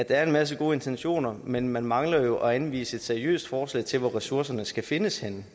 er en masse gode intentioner men man mangler at anvise et seriøst forslag til hvor ressourcerne skal findes henne